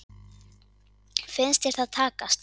Finnst þér það takast?